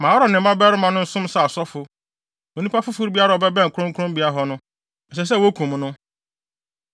Ma Aaron ne ne mmabarima no nsom sɛ asɔfo; onipa foforo biara a ɔbɛbɛn kronkronbea hɔ no, ɛsɛ sɛ wokum no.”